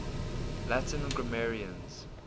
latin grammarians